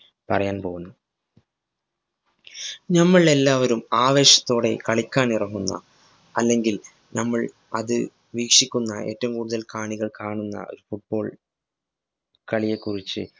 പറയാന്‍ പോകുന്നു. നമ്മളെല്ലാവരും ആവേശത്തോടെ കളിക്കാന്‍ ഇറങ്ങുന്ന, അല്ലെങ്കില്‍ നമ്മള്‍ അത് വീക്ഷിക്കുന്ന, ഏറ്റവും കൂടുതല്‍ കാണികള്‍ കാണുന്ന ഒരു football കളിയെ കുറിച്ച്